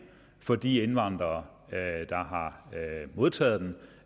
for de indvandrere der har modtaget den